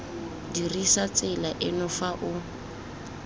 dirisa tsela eno fa o